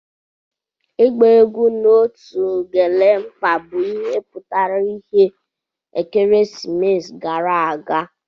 Ịgba egwu na otu Ugelemkpa bụ ihe pụtara ìhè ekeresimesi gara aga.